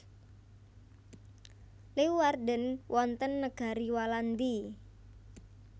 Leeuwarden wonten Negari Walandi